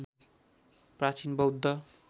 प्राचीन बौद्ध